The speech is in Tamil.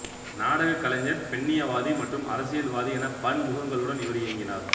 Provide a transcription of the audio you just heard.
நாடகக் கலைஞர் பெண்ணியவாதி மற்றும் அரசியல் வாதி என பன்முகங்களுடன் இவர் இயங்கினார்